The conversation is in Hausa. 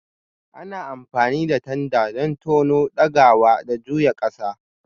Ana amfani da tanda don tono, ɗagawa, da juya ƙasa.